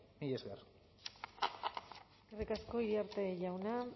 mila esker eskerrik asko iriarte jauna